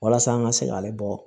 Walasa an ka se k'ale bɔ